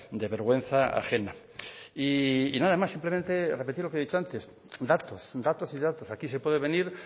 de vergüenza ajena y nada más simplemente repetir lo que he dicho antes datos datos y datos aquí se puede venir